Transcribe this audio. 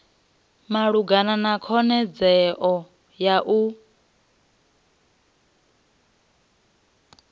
malugana na khonadzeo ya u